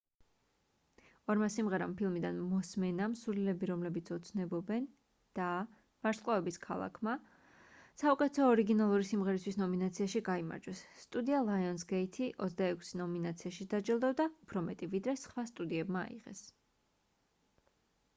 ორმა სიმღერამ ფილმიდან მოსმენამ სულელები რომლებიც ოცნებობენ და ვარსკვლავების ქალაქმა საუკეთესო ორიგინალური სიმღერისთვის ნომინაციაში გაიმარჯვეს. სტუდია lionsgate-ი 26 ნომინაციაში დაჯილდოვდა — უფრო მეტი ვიდრე სხვა სტუდიებმა აიღეს